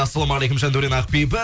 ассалаумағалейкум жандаурен ақбибі